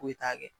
Foyi t'a kɛ